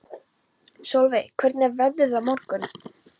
Solveig, hvernig er veðrið á morgun?